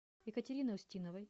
екатерины устиновой